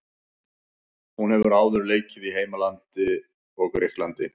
Hún hefur áður leikið í heimalandinu og Grikklandi.